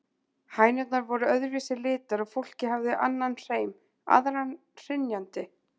Hænurnar voru öðru vísi litar og fólkið hafði annan hreim, aðra hrynjandi.